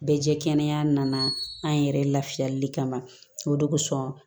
Bɛɛ jɛ kɛnɛya nana an yɛrɛ lafiyali kama o de kosɔn